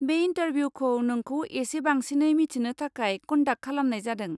बे इनटारभिउखौ नोंखौ इसे बांसिनै मिथिनो थाखाय कन्डाक्ट खालामनाय जादों।